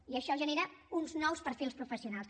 i això genera uns nous perfils professionals